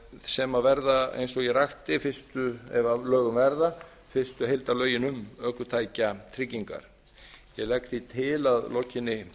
sem verða eins og ég rakti ef að lögum verða fyrstu heildarlögin um ökutækjatryggingar ég legg því til að að lokinni